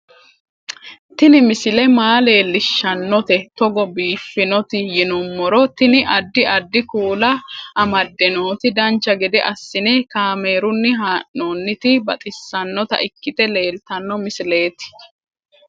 Tini misile maa leellishshannote togo biiffinoti yinummoro tini. addi addi kuula amadde nooti dancha gede assine kaamerunni haa'noonniti baxissannota ikkite leeltanno misileeti